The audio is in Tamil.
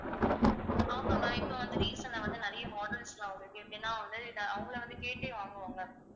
ஆமா ma'am இப்போ வந்து recent ஆ வந்து நிறைய models எல்லாம் அவங்களுக்கு எப்படின்னா வந்து அவங்களே வந்து கேட்டே வாங்குவாங்க